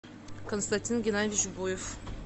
константин геннадьевич буев